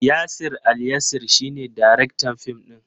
Yasir Alyasir shi ne daraktan fim din.